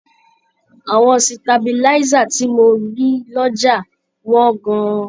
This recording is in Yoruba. Àwọn sitabiláísà tí mo rí lọ́jà wọ́n gan-an.